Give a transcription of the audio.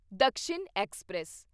Dakshin express